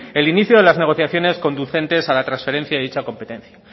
el inicio de las negociaciones conducentes a la transferencia de dicha competencia